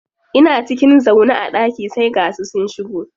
Ina cikin zaune a ɗaki sai ga su sun shigo.